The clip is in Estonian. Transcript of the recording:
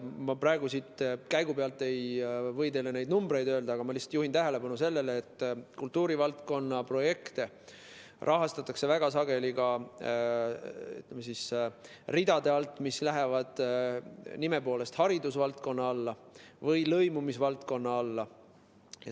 Ma praegu siin käigu pealt ei või teile neid numbreid öelda, aga ma lihtsalt juhin tähelepanu sellele, et kultuurivaldkonna projekte rahastatakse väga sageli ka, ütleme, nende ridade alt, mis nime poolest kuuluvad haridusvaldkonna või lõimumisvaldkonna alla.